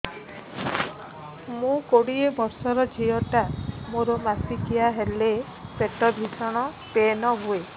ମୁ କୋଡ଼ିଏ ବର୍ଷର ଝିଅ ଟା ମୋର ମାସିକିଆ ହେଲେ ପେଟ ଭୀଷଣ ପେନ ହୁଏ